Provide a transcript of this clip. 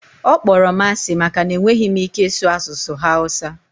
ọ kpọrọ m asị maka na enweghị m ike ịsụ asụsụ hausa